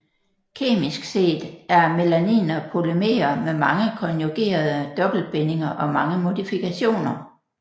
Kemisk set er melaniner polymere med mange konjugerede dobbeltbindinger og mange modifikationer